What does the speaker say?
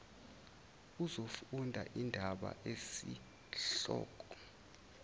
uzofunda indaba esihloko